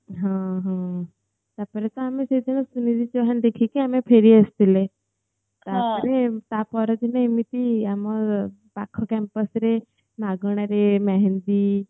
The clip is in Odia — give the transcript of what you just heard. ହଁ ହଁ ତା ପରେ ତ ଆମେ କେବଳ ସୁନିତି ଚୌହାନ ଦେଖିକି ଆମେ ଫେରି ଆସିଥିଲେ ତା ପରେ ତା ପରେ କିନ୍ତୁ ଏମିତି ଆମର ପାଖ campus ରେ ମାଗଣାରେ ମେହେନ୍ଦି